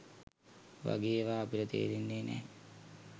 වගේ ඒවා අපිට තේරෙන්නෙ නෑ